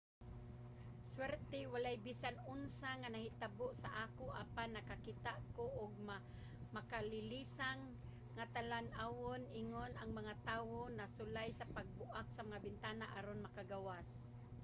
"suwerte walay bisan unsa nga nahitabo sa ako apan nakakita ko og makalilisang nga talan-awon ingon ang mga tawo nagsulay sa pagbuak sa mga bintana aron makagawas.